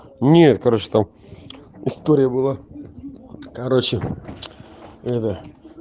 нет короче там история была короче это